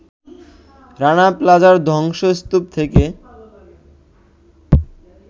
রানা প্লাজার ধ্বংসস্তূপ থেকে